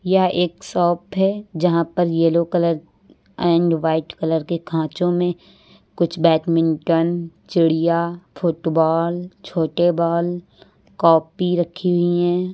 यह एक शॉप है यहां पर yellow colour and white colour के खांचों में कुछ बैडमिंटन चिड़िया फुटबॉल छोटे बॉल कॉपी रखी हुई हैं।